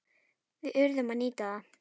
Við urðum að nýta það.